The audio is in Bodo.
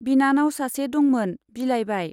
बिनानाव सासे दंमोन, बिलाइबाय।